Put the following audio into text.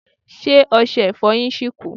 Ṣé ọsẹ Ìfọ̀yín ṣì kù